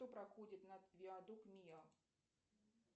кто проходит над виадук миа